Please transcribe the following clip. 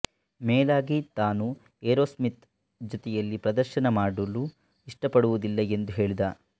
ಮೇಲಾಗಿ ತಾನು ಏರೋಸ್ಮಿತ್ ಜೊತೆಯಲ್ಲಿ ಪ್ರದರ್ಶನ ಮಾಡುಲು ಇಷ್ಟಪಡುವುದಿಲ್ಲ ಎಂದು ಹೇಳಿದ